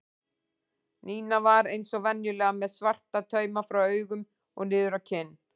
Nína var eins og venjulega með svarta tauma frá augum og niður á kinn.